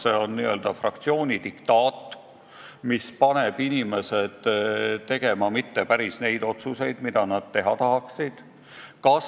Kas see on n-ö fraktsiooni diktaat, mis paneb inimesed tegema mitte päris neid otsuseid, mida nad teha tahaksid?